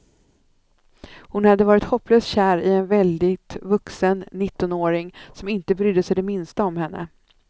Hon hade varit hopplöst kär i en väldigt vuxen nittonåring, som inte brydde sig det minsta om henne.